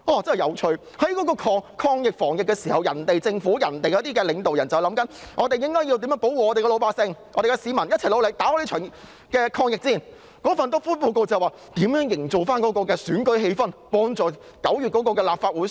在全球抗疫防疫之時，其他政府、其他領導人都在想要如何保護自己的老百姓，市民要一起努力戰勝這場抗疫戰，但那份"篤灰"報告卻說，要如何營造選舉氣氛，幫助9月的立法會選舉。